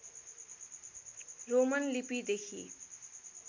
Roman लिपिदेखि